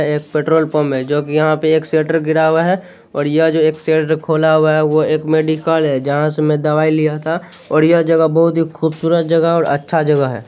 यह एक petrol pump है जो की यहाँ पे एक शटर गिरा हुआ है और यह जो एक शटर खुला हुआ है वो एक मेडिकल है जहाँ से मैं दवाई लिया था और यह जगह बहुत ही खूबसूरत जगह और अच्छा जगह है।